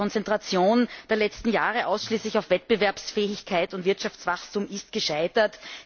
Ich denke, die Konzentration der letzten Jahre ausschließlich auf Wettbewerbsfähigkeit und Wirtschaftswachstum ist gescheitert.